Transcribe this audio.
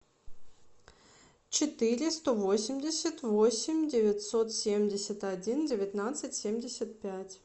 четыре сто восемьдесят восемь девятьсот семьдесят один девятнадцать семьдесят пять